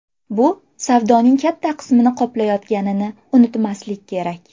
Bu savdoning katta qismini qoplayotganini unutmaslik kerak”.